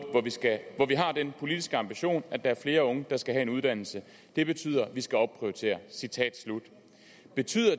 hvor vi har den politiske ambition at der er flere unge der skal have en uddannelse det betyder at vi skal opprioritere citat slut betyder